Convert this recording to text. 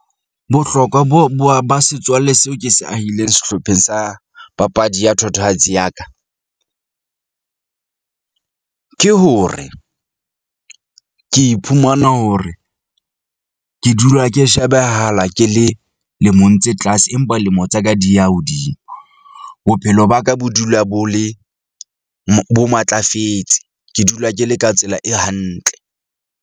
Bohlokwa bo bo ba setswalle seo ke se ahileng sehlopheng sa papadi ya thatohatsi ya ka , ke hore ke iphumana hore ke dula ke shebehala ke le lemong tse tlase empa lemo tsa ka di ya hodimo. Bophelo ba ka bo dula bo le bo matlafetse. Ke dula ke le ka tsela e hantle.